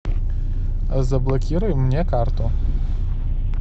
заблокируй мне карту